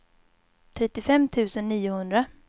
trettiofem tusen niohundra